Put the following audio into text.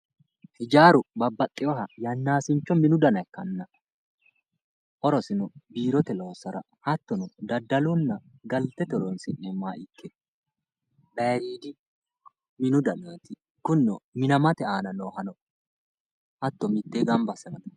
ijaaru babbaxxewooha yannaasincho minu dana ikkanna horosino biirote loossara hattono daddalonna galtete horonsi'neemmo kkeenna baayiiriidi minu dana. kunino minamate aana hatto mittee gamba assine